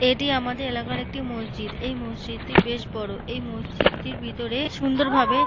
এটি আমাদের এলাকার একটি মসজিদ এই মসজিদটি বেশ বড় এই মসজিদটির ভিতরে সুন্দরভাবে।